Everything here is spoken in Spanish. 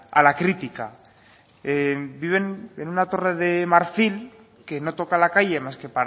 a la crítica viven en una torre de marfil que no toca la calle más que